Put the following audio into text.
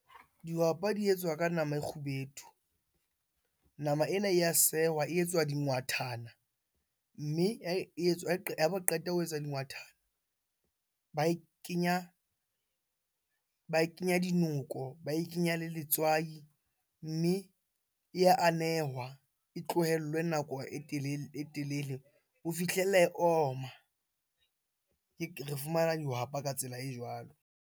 Dihwapa di etswa ka nama e kgubedu. Nama ena ya sehwa, e etswa dingwathana. Mme ha ba qeta ho etsa dingwathana, ba kenya dinoko, ba e kenya le letswai. Mme e ya anehwa, e tlohellwe nako e telele ho fihlella e oma. Re fumana dihwapa ka tsela e jwalo.